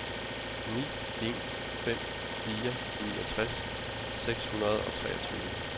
ni en fem fire niogtres seks hundrede og treogtyve